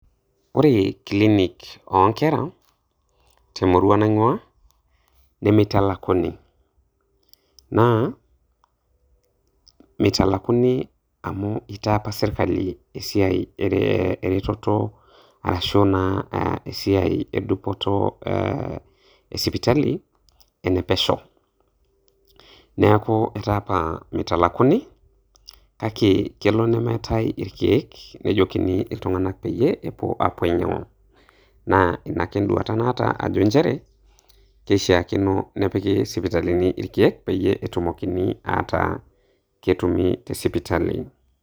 Ore kilinik oonkera temurrua naing'ua , nemitalakuni. Naa mitalakuni amu itaa apa sirkali esiai ereteto arashu naa esiai e dupoto esipitali enepesho. Neeku etaa apa mitalakuni kake kelo nemeetai irkeek, nejokini iltung'anak peyie epuo ainyang'u naa ina ake enduata najo injere keishaakino nepiki sipitalini irkeek peyie etumokini ataa ketumi te sipitali.